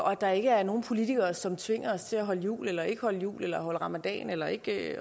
og at der ikke er nogen politikere som tvinger os til at holde jul eller ikke at holde jul eller holde ramadan eller ikke